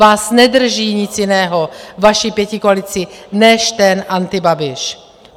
Vás nedrží nic jiného, vaši pětikoalici, než ten antibabiš.